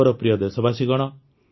ମୋର ପ୍ରିୟ ଦେଶବାସୀଗଣ